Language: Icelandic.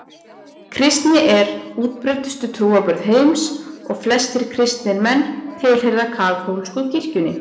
Kristni er útbreiddustu trúarbrögð heims og flestir kristnir menn tilheyra kaþólsku kirkjunni.